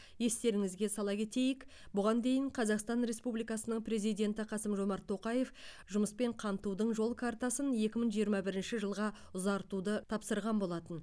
естеріңізге сала кетейік бұған дейін қазақстан республикасының президенті қасым жомарт тоқаев жұмыспен қамтудың жол картасын екі мың жиырма бірінші жылға ұзартуды тапсырған болатын